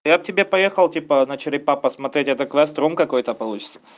я к тебе поехал типа на черепа посмотреть это квест ром какой-то получится